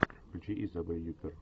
включи изабель юппер